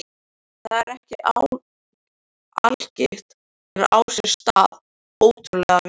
Þetta er ekki algilt en á sér stað ótrúlega víða.